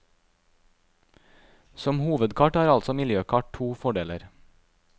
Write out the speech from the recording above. Som hovedkart har altså miljøkart to fordeler.